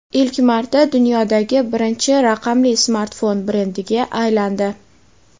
ilk marta dunyodagi birinchi raqamli smartfon brendiga aylandi.